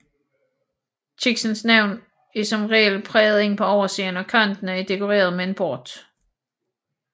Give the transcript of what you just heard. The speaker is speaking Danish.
Kiksens navn er som regel præget ind på oversiden og kanterne er dekoreret med en bort